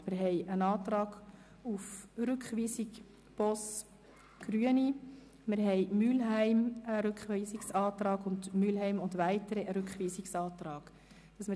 Es liegt ein Antrag Boss/Grüne auf Rückweisung vor sowie ein Rückweisungsantrag Mühlheim und ein Rückweisungsantrag Mühlheim und Weitere.